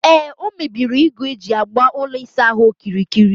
Ee, o mebiri igu eji gbaa ụlọ ịsaahụ okirikiri